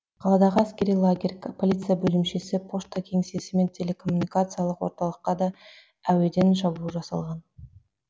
қаладағы әскери лагерь полиция бөлімшесі пошта кеңсесі мен телекоммуникациялық орталыққа да әуеден шабуыл жасалған